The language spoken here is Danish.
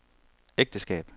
ægteskab